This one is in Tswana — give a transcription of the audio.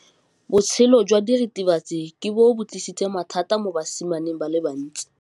Botshelo jwa diritibatsi ke bo tlisitse mathata mo basimaneng ba bantsi.